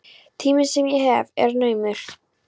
Tíminn sem ég hef er naumur.